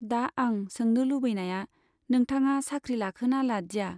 दा आं सोंनो लुबैनाया नोंथाङा साख्रि लाखोना लादिया ?